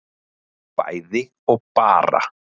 bæði og bara